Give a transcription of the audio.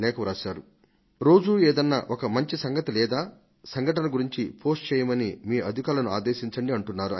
దయచేసి ప్రతి రోజూ ఏదన్నా ఒక మంచి సంఘటనను గురించి పోస్ట్ చేయమని మీ అధికారులను ఆదేశించండి అంటున్నారు ఆయన